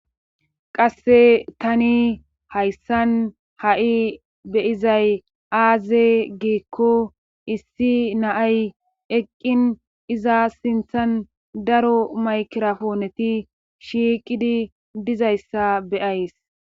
qasse tani hayssan ha'i be'izay aaze giikko issi naay eqqin iza sinthan daro maykirapooneti shiiqidi dizayssa be'ays